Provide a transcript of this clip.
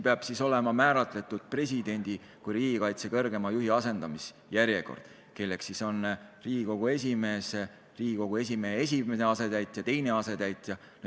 Peab olema määratletud presidendi kui riigikaitse kõrgeima juhi asendamise järjekord: Riigikogu esimees, Riigikogu esimehe esimene asetäitja, teine asetäitja.